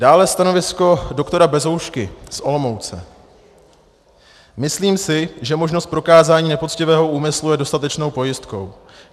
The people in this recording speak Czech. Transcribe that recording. Dále stanovisko doktora Bezoušky z Olomouce: Myslím si, že možnost prokázání nepoctivého úmyslu je dostatečnou pojistkou.